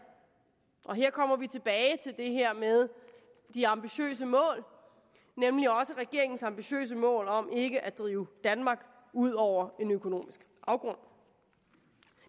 og her kommer vi tilbage til det her med de ambitiøse mål nemlig også regeringens ambitiøse mål om ikke at drive danmark ud over en økonomisk afgrund